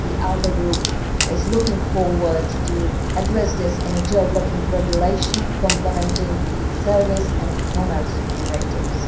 The ALDE Group is looking forward to addressing this in a geo blocking regulation complementing the services and e commerce directives.